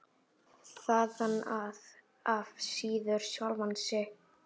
Þaðan af síður sjálfan sig.